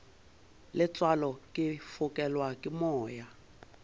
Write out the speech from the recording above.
letswalo ke fokelwa ke moya